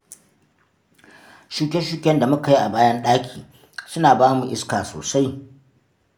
Shuke-shuken da mu ka yi a bayan ɗaki, suna ba mu iska sosai.